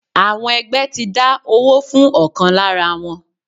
Àwọn ẹgbẹ́ ti dá owó fún ọ̀kan lára wọn.